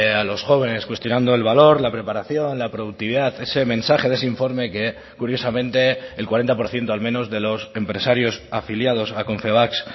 a los jóvenes cuestionando el valor la preparación la productividad ese mensaje de ese informe que curiosamente el cuarenta por ciento al menos de los empresarios afiliados a confebask